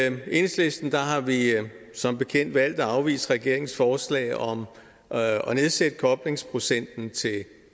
enhedslisten har vi som bekendt valgt at afvise regeringens forslag om at nedsætte koblingsprocenten til